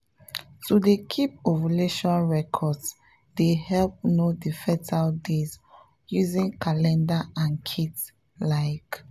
to dey keep ovulation records dey help know the fertile days using calendar and kits like